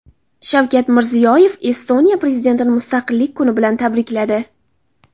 Shavkat Mirziyoyev Estoniya prezidentini Mustaqillik kuni bilan tabrikladi.